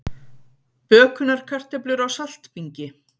Bökunarkartöflur á saltbingi